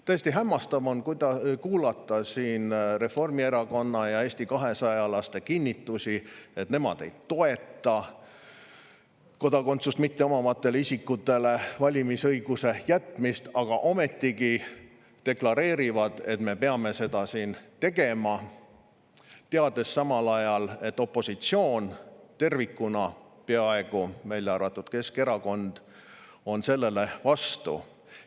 Tõesti hämmastav on kuulata siin Reformierakonna ja Eesti 200-laste kinnitusi, et nemad ei toeta kodakondsust mitteomavatele isikutele valimisõiguse jätmist, aga ometigi nad deklareerivad, et me peame seda siin tegema, teades samal ajal, et opositsioon tervikuna – peaaegu tervikuna, Keskerakond välja arvatud – on sellele vastu.